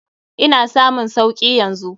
Ina samun sauki yanzu.